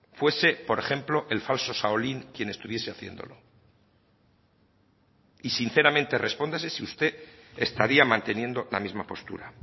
fuese por ejemplo el falso shaolín quien estuviese haciéndolo y sinceramente respóndase si usted estaría manteniendo la misma postura